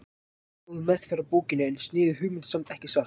Ekki góð meðferð á bókinni en sniðug hugmynd samt, ekki satt?